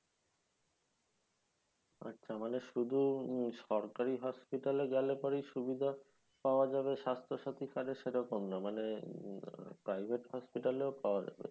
আচ্ছা মানে শুধু সরকারি hospital এ গেলে পরেই সুবিধা পাওয়া যাবে স্বাস্থ সাথী card এ? সেরকম না। মানে আহ private hospital এও পাওয়া যাবে?